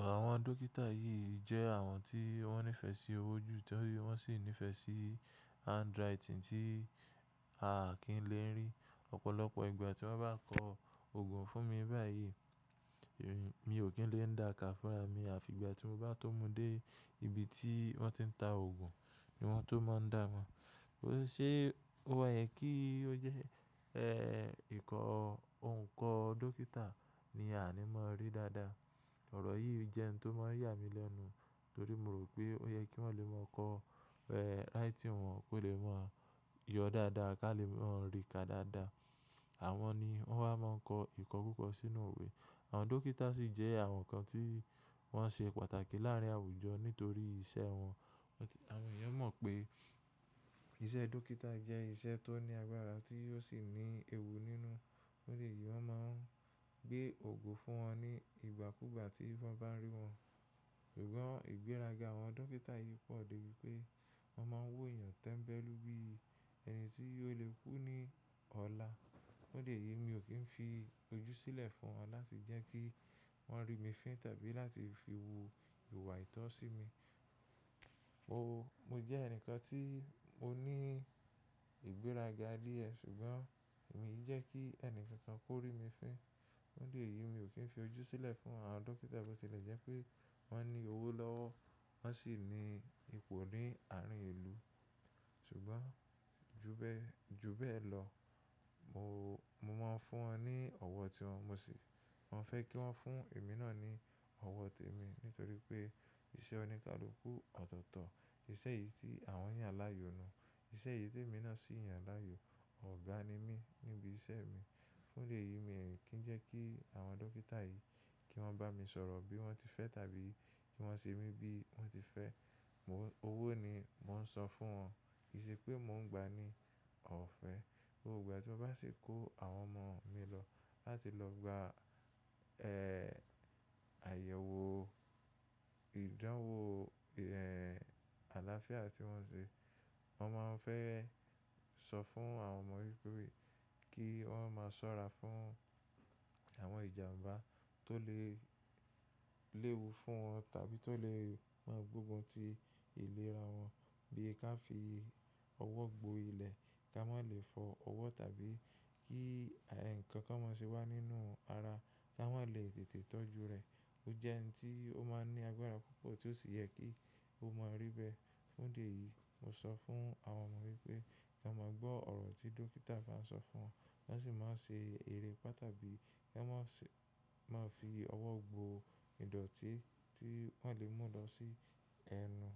àwọn dókítà yìí jẹ́ àwọn tí wọ́n nífẹ̀ẹ́ sí owó jù, torí wọ́n sì nífẹ̀ẹ́ sí handwriting tí a kì í lè rí. Ọ̀pọ̀lọpọ̀ ìgbà tí wọ́n bá kọ òògùn fún mi báyìí, èmi, mi ò kí ń lè dáka fúnra mi. Àfi ìgbà tí mo bá tó mú dé ibi tí wọ́n ti ń ta òògùn ni wọ́n tó máa ń dáamd. Ṣé ó yẹ kí ó jẹ́ ẹ́, ìkọ́, òǹkọ́ dókítà ni a ní máa rí dáadáa? Ọ̀rọ̀ yìí jẹ́ ohun tó máa ń yà mí lẹ́nu, torí mo rò pé ó yẹ kí wọ́n lè mọ kọ ẹ́ writing wọn kó lè máa yọ dáadáa ká lè máa rí ká dáadáa. Àwọn ni wọ́n wa máa ń kọ ìkọ́kúkọ̀ sínú òwe. Àwọn dókítà sì jẹ́ àwọn kan tí wọ́n ṣe pàtàkì láàárín àwùjọ nítorí iṣẹ́ wọn. Àwọn èèyàn mọ̀ pé iṣẹ́ dókítà jẹ́ iṣẹ́ tó ní agbára tí ó sì ní ewu nínú. Fún'dí ẹ̀yìí wọ́n máa ń gbé òògùn fún wọn ní ìgbàkúgbà tí wọ́n bá rí wọn. Ṣùgbọ́n ìgbéraga àwọn dókítà yìí pọ̀ dé bí pé wọ́n máa ń wo èèyàn tẹ́mbẹ́lú bí ẹni tí ó lè kú ní ọ̀la. Fún'dí ẹ̀yìí mi ò kí ń fi ojú sílẹ̀ fún wọn láti jẹ́ kí wọ́n rí mi fín tàbí láti fi wu ìwà àìtọ́ sí mi. O, mo jẹ́ ẹni kan tí mo ní ìgbéraga díẹ̀ ṣùgbọ́n èmi jẹ́ kí ẹni kankan kó rí mi fín. Fún'dí ẹ̀yìí mi ò kí ń fi ojú sílẹ̀ fún àwọn dókítà bó tilẹ̀ jẹ́ pé wọ́n ní owó lọ́wọ́, wọ́n sì ní ipò ní àárín ìlú. Ṣùgbọ́n ju bẹ́ẹ̀, ju bẹ́ẹ̀ lọ, mo, mo máa ń fún wọn ní ọwọ́ tí wọn mọ̀ sí. Wọ́n fẹ́ kí wọ́n fún èmi náà ní ọwọ́ témi nítorí pé iṣẹ́ oníkálukú ọ̀tọ̀ọ̀tọ̀, iṣẹ́ èyìí tí àwọn yàn lááyò nù. Iṣẹ́ yìí témi náà sì yàn lááyò. Ọ̀gá ni mí níbi iṣẹ́ mi. Fún'dí ẹ̀yìí mi ò kí ń jẹ́ kí àwọn dókítà yìí kí wọ́n bá mi sọ̀rọ̀ bí wọ́n ti fẹ́ tàbí kí wọ́n ṣe mí bí wọ́n ti fẹ́. Mo, owó ni mò ń san fún wọn, kì í ṣe pé mò ń gba ní ọ̀fẹ́. Ọ̀pọ̀ ìgbà tí mo bá sì kó àwọn ọmọ mi lọ láti lọ gba ẹ́, àyẹ̀wò ìdánwò ẹ́ àlàáfíà tí wọ́n ṣe, wọ́n máa ń fẹ́ sọ fún àwọn ọmọ wípé kí wọ́n máa ṣọ́ra fún àwọn ìjànbá tó lè léwu fún wọn tàbí tó lè máa gbógun ti ìlera wọn. Bí i ká fi ọwọ́ gbo ilẹ̀ ká má lè fọ ọwọ́ tàbí kí ẹ̀, nǹkan kan máa ṣe wá nínú ara ká má lè tètè tọ́jú rẹ̀. Ó jẹ́ ẹni tí ó máa ń ní agbára púpọ̀ tí ó sì yẹ kí ó máa rí bẹ́ẹ̀. Fún'dí ẹ̀yìí mo sọ fún àwọn ọmọ wípé ká máa gbọ́ ọ̀rọ̀ tí dókítà bá ń sọ fún wọn, ki wọ́n sì mo ṣe ère ipá tábí i kán máa ṣe, máa fi ọwọ́ gbo ìdọ̀tí tí wọ́n lè mú lọ sí ẹnu.